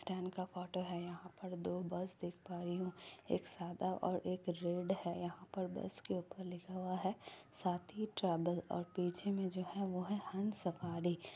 Stand का photo है। यहां पर दो बस देख पा रही हूं एक सादा और एक रेड है। यहां पर बस के ऊपर लिखा हुआ है साथी ट्रैवल और पीछे में जो है वह है हंस सफारी ।